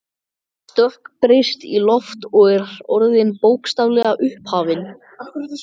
stökkbreyst í loft, og er orðin, bókstaflega, upphafin.